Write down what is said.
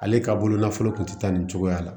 Ale ka bololafolo kun te taa nin cogoya la